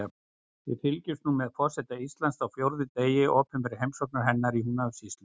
Við fylgjumst nú með forseta Íslands á fjórða degi opinberrar heimsóknar hennar í Húnavatnssýslu.